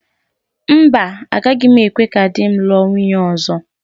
Mba, agaghị m ekwe ka di m lụọ nwunye ọzọ.